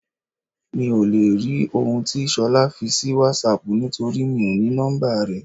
Mi ò lè rí òun tí Ṣolá fi sì WhatsApp nítorí mi ò ní nọ́mbà rẹ̀.